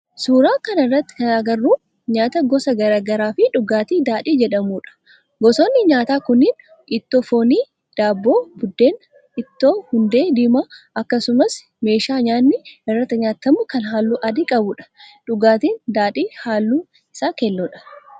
Suuraa kana irratti kana agarru nyaata gosa garaagaraa fi dhugaatii daadhii jedhamudha. Gosootni nyaataa kunniin, ittoo foonii, daabboo, buddeen, ittoo hundee diimaa, akkasumas meeshaa nyaatni irratti nyaatamu kan halluu adii qabuudha. Dhugaatin daadhii halluun isaa keelloodha.